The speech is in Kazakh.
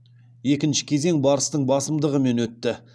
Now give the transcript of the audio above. екінші кезең барыстың басымдығымен өтті